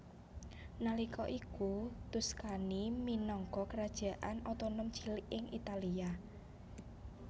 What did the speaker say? Nalika iku Tuscany minangka kerajaan otonom cilik ing Italia